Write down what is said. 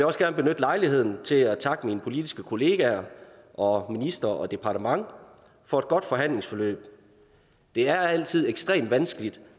også gerne benytte lejligheden til at takke mine politiske kollegaer og minister og departement for et godt forhandlingsforløb det er altid ekstremt vanskeligt